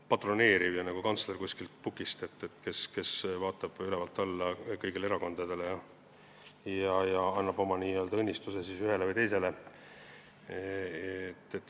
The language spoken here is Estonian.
Ta kõneles nagu kantsler kuskilt pukist, kes vaatab ülevalt alla kõigile erakondadele ja annab siis n-ö oma õnnistuse ühele või teisele.